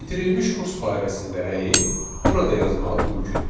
Bitirilmiş kurs barəsində rəyi burada yazmaq mümkündür.